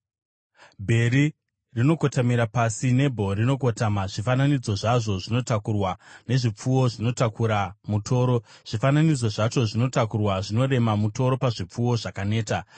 Bheri rinokotamira pasi, Nebho rinokotama; zvifananidzo zvavo zvinotakurwa nezvipfuwo zvinotakura mutoro. Zvifananidzo zvacho zvinotakurwa zvinorema, mutoro pazvipfuwo zvakaneta.